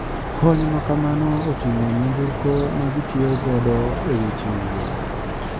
Kony makamano otingo nyamburko ma gitiyo godo e weche wuoth.